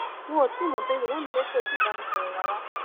n ò tí ì mọ nítorí baba mi lókè ò tí ì bá mi sọrọ rárá